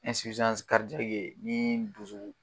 ye nii dusu